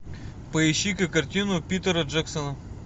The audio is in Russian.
поищи ка картину питера джексона